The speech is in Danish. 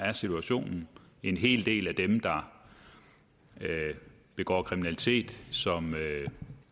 er situationen en hel del af dem der begår kriminalitet